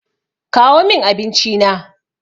Kawo min abinci na!